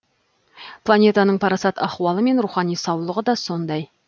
планетаның парасат ахуалы мен рухани саулығы да сондай